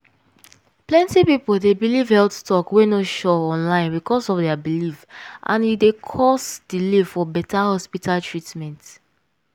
plenty people dey believe health talk wey no sure online because of their belief and e d cause delay for beta hospital treatment.